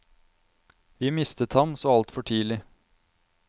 Vi mistet ham så altfor tidlig.